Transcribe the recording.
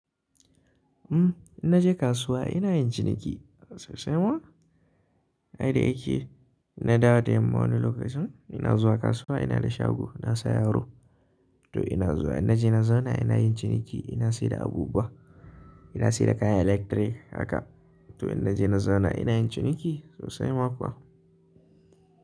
Uhm, in naje kasuwa ina yin ciniki sosai ma. Ai da yake ina dawo da yamma wani lokacin ina zuwa kasuwa ina da shago ina sayaro. To ina zuwa in naje na zauna ina yin ciniki ina sayar da abubuwa, ina sayar da kayan electric haka. To in naje na zauna ina yin ciniki sosai ma kuwa.